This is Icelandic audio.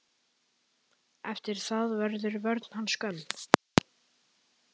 Eftir það verður vörn hans skömm.